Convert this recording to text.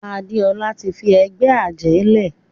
Adéọlá tí fí ègbé ajé lẹ.